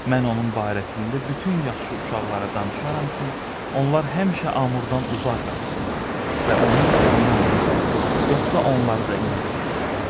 Mən onun barəsində bütün yaxşı uşaqlara danışaram ki, onlar həmişə Amurdan uzaq qaçsınlar və onunla oynamasınlar, yoxsa onları da incidər.